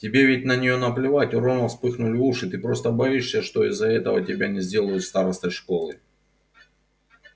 тебе ведь на неё наплевать у рона вспыхнули уши ты просто боишься что из-за этого тебя не сделают старостой школы